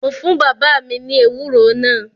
Mo fún bàbá mi ní ewúro náà